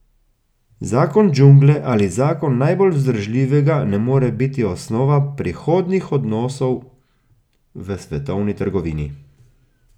Zakon džungle ali zakon najbolj vzdržljivega ne more biti osnova prihodnjih odnosov v svetovni trgovini.